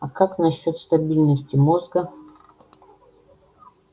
а как насчёт стабильности мозга